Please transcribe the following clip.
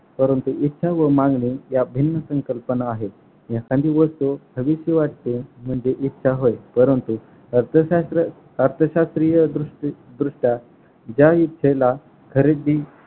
परंतु इच्छा व मागणी या भिन्न संकल्पना आहेत. एखांदी वस्तू हवीशी वाटते म्हणजे इच्छा होय परंतु अर्थशास्त्र अर्थशास्त्रीय दृश्य दृश्यात ज्या इच्छेला खरेदी